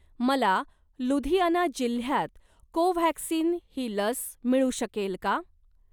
मला लुधियाना जिल्ह्यात कोव्हॅक्सिन ही लस मिळू शकेल का?